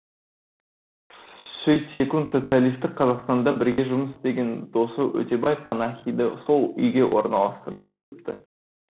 сөйтсекунд социалистік қазақстанда бірге жұмыс істеген досы өтебай қанахинді сол үйге орналастырып қойыпты